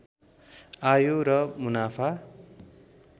आयो र मुनाफा